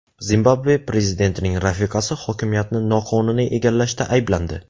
Zimbabve prezidentining rafiqasi hokimiyatni noqonuniy egallashda ayblandi.